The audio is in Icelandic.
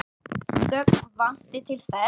Gögn vanti til þess.